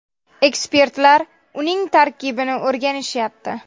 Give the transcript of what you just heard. Ekspertlar uning tarkibini o‘rganishyapti.